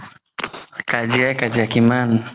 কাজিয়াই কাজিয়া কিমান